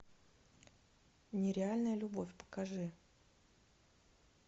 нереальная любовь покажи